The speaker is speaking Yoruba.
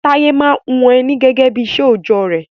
Taye maa n hun Eni gege bi isé ojo re